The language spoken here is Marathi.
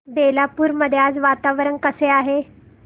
बेलापुर मध्ये आज वातावरण कसे आहे